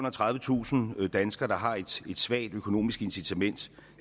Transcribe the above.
og tredivetusind danskere der har et svagt økonomisk incitament